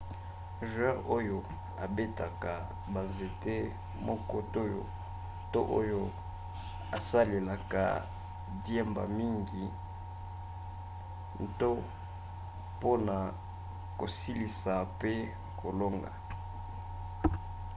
joueur oyo abetaka banzete moko to oyo asalelaka diemba mingi to mpona kosilisa pe kolonga